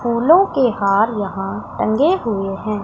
फूलों के हार यहां टंगे हुए हैं।